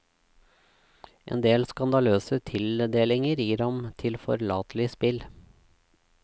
Endel skandaløse tildelinger gir ham tilforlatelig spill.